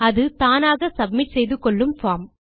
அது தானாக சப்மிட் செய்து கொள்ளும் பார்ம்